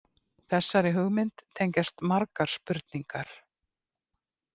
Þessari hugmynd tengjast margar spurningar.